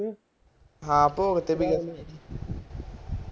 ਹਾਂ ਭੋਗ ਤੇ ਗਿਆ ਸੀ